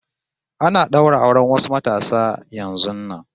Ana ɗaura auren wasu matasa yanzun nan